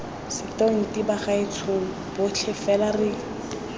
setonti bagaetshong botlhe fela re